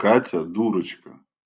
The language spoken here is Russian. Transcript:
катя дурочка